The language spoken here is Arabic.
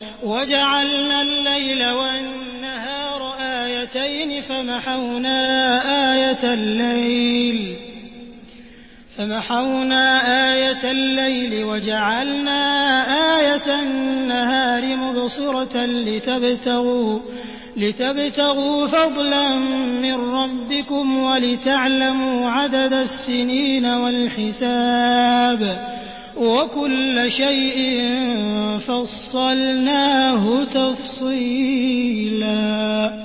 وَجَعَلْنَا اللَّيْلَ وَالنَّهَارَ آيَتَيْنِ ۖ فَمَحَوْنَا آيَةَ اللَّيْلِ وَجَعَلْنَا آيَةَ النَّهَارِ مُبْصِرَةً لِّتَبْتَغُوا فَضْلًا مِّن رَّبِّكُمْ وَلِتَعْلَمُوا عَدَدَ السِّنِينَ وَالْحِسَابَ ۚ وَكُلَّ شَيْءٍ فَصَّلْنَاهُ تَفْصِيلًا